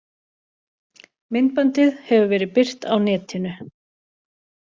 Myndbandið hefur verið birt á netinu